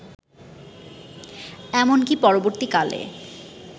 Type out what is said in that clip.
এমনকি পরবর্তীকালে